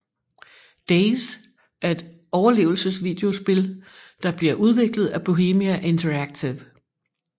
DayZ er et overlevelse videospil der bliver udviklet af Bohemia Interactive